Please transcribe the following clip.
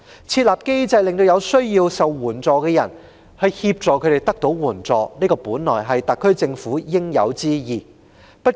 設立機制協助有需要的人得到援助，本是特區政府的應有之義。